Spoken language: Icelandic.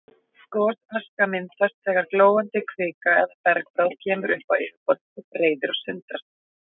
Gosaska myndast þegar glóandi kvika eða bergbráð kemur upp á yfirborðið og freyðir og sundrast.